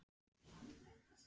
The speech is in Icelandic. Hvað ætlið þið að gera við hann?